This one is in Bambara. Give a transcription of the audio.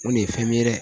O de ye fɛn min ye dɛ